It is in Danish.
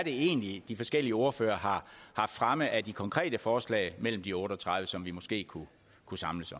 egentlig er de forskellige ordførere har fremme af de konkrete forslag mellem de otte og tredive som vi måske kunne kunne samles